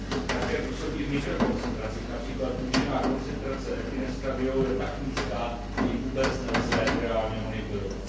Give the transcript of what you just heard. Také působí v mikrokoncentracích, například účinná koncentrace ethinylestradiolu je tak nízká, že ji vůbec nelze reálně monitorovat.